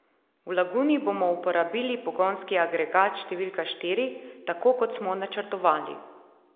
V Laguni bomo uporabili pogonski agregat številka štiri, tako kot smo načrtovali.